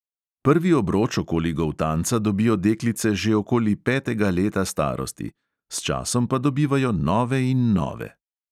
Prvi obroč okoli goltanca dobijo deklice že okoli petega leta starosti, s časom pa dobivajo nove in nove.